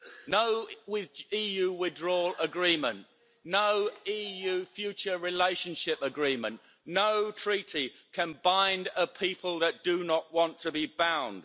No EU withdrawal agreement, no EU future relationship agreement, no treaty can bind a people that do not want to be bound.